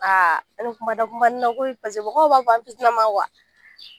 Aa ani mɔgɔw an tɛ kuma mɛn